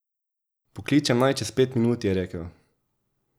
Pokličem naj čez pet minut, je rekel.